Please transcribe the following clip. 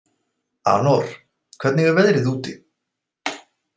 Anor, hvernig er veðrið úti?